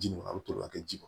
Ji a bi toli ka kɛ ji kɔnɔ